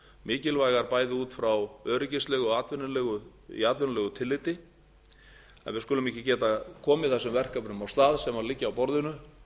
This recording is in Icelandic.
mikilvægar bæði út frá öryggislegu og í atvinnulegu tilliti að við skulum ekki geta komið þessum verkefnum af stað sem liggja á borðinu